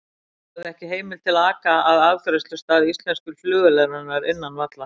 Hafði ekki heimild til að aka að afgreiðslustað íslensku flugvélarinnar innan vallar.